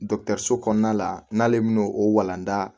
so kɔnɔna la n'ale m'o o walanda